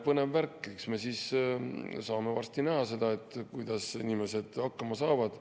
Põnev värk, eks me siis saame varsti näha, kuidas inimesed hakkama saavad.